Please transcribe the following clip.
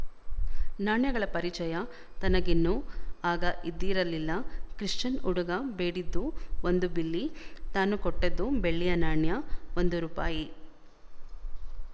ನಾಣ್ಯಗಳ ಪರಿಚಯ ತನಗಿನ್ನೂ ಆಗ ಇದ್ದಿರಲಿಲ್ಲ ಕ್ರಿಶ್ಚನ್ ಹುಡುಗ ಬೇಡಿದ್ದು ಒಂದು ಬಿಲ್ಲಿ ತಾನು ಕೊಟ್ಟದ್ದು ಬೆಳ್ಳಿಯ ನಾಣ್ಯ ಒಂದು ರೂಪಾಯಿ